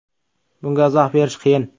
Bunga izoh berish qiyin.